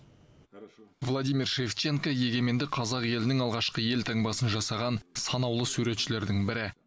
владимир шевченко егеменді қазақ елінің алғашқы елтаңбасын жасаған санаулы суретшілердің бірі